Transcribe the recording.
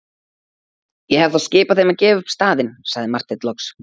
Ég hef þá skipað þeim að gefa upp staðinn, sagði Marteinn loks.